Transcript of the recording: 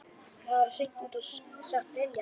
Það væri hreint út sagt brilljant!